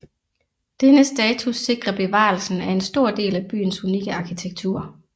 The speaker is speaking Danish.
Denne status sikrer bevarelsen af en stor del af byens unikke arkitektur